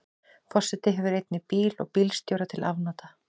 Forseti hefur einnig bíl og bílstjóra til afnota.